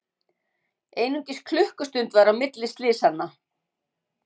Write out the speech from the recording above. Einungis klukkustund var á milli slysanna